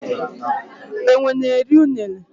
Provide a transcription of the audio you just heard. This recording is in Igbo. enwe n'eri unere.